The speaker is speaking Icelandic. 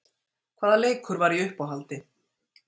Hvaða leikur var í uppáhaldi?